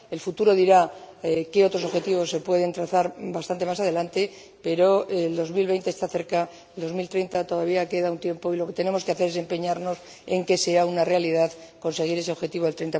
El futuro dirá qué otros objetivos se pueden trazar bastante más adelante, pero 2020 está cerca y para 2030 todavía queda un tiempo, y lo que tenemos que hacer es empeñarnos en que sea una realidad conseguir ese objetivo del